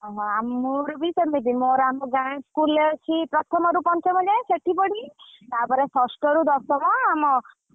ଓହୋ ମୋର ବି ସେମିତି ମୋର ଆମ ଗାଁ school ରେ ଅଛି ପ୍ରଥମ ରୁ ପଞ୍ଚମ ଯାଏ ସେଠି ପଢିଲି ତାପରେ ଷଷ୍ଠ ଋ ଦଶମ ଆମ ।